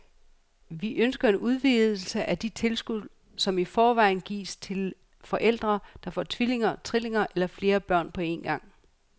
Vi ønsker en udvidelse af det tilskud, som i forvejen gives til forældre, der får tvillinger, trillinger eller flere børn på en gang.